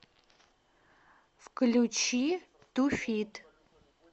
включи ту фит